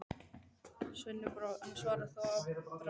Sveini brá, en svaraði þó að bragði: